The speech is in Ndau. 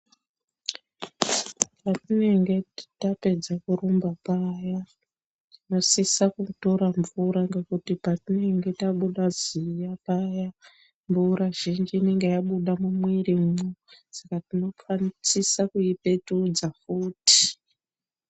Patinenge tapedze kurumba paya, tinosisa kutora mvura ngekuti patinenge tabuda ziya paya mvura zhinji inenge yabuda mumwirimwo saka tinosisa kuipetudza futi.